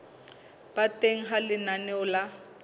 ba teng ha lenaneo la